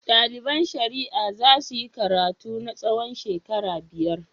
Ɗaliban shari'a za su yi karatu na tsawon shekaru biyar.